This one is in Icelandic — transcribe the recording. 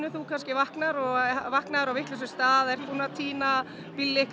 þú kannski vaknar og vaknaðir að vitlausum stað og ert búinn að týna